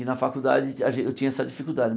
E na faculdade a gen eu tinha essa dificuldade né.